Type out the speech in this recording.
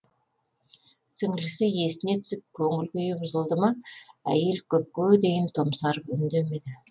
сіңлісі есіне түсіп көңіл күйі бұзылды ма әйел көпке дейін томсарып үндемеді